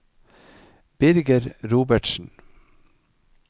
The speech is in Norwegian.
Birger Robertsen